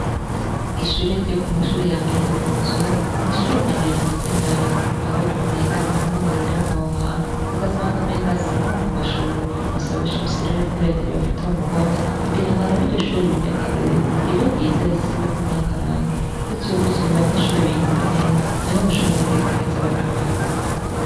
Ishure ryokumashure yambere yokumuzungu nishure ryambere rimeze nabi aho umenga ninkomuhira ahohantu ugasanga umenga sinkokumashure basaba bashimitse ko reta yobafata mumugongo kugira nabo iryoshure ribe ryakarorero ribe ryiza risigweko nakarangi gutyo gutyo abanyeshure biyumve neza niho bashobora kwiga neza bakamenya